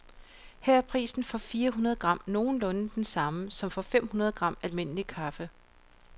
Her er prisen for fire hundrede gram nogenlunde den samme som for fem hundrede gram almindelig kaffe.